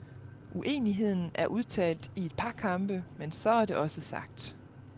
Uenigheden er udtalt i et par kampe, men så er det også sagt.